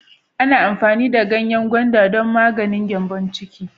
Ana amfani da danyen gwanda don maganin Gambon ciki.